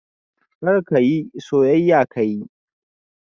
Karya ka yi, soyayya ka yi